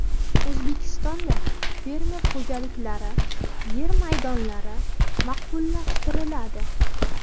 O‘zbekistonda fermer xo‘jaliklari yer maydonlari maqbullashtiriladi.